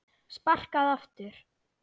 Sparkað aftur.